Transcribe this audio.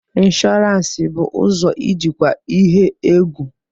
Insurance bụ ụzọ ijikwa ihe egwu.